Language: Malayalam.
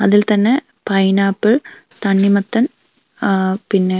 അതിൽ തന്നെ പൈനാപ്പിൾ തണ്ണിമത്തൻ ഏഹ് പിന്നെ --